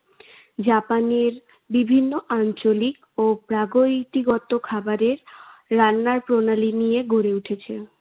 জাপানে বিভিন্ন আঞ্চলিক ও প্রাগৈতিগত খাবারের রান্নার প্রণালী নিয়ে গড়ে উঠেছে।